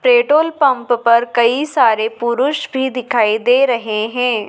Petrol pump पर कई सारे पुरुष भी दिखाई दे रहे हैं।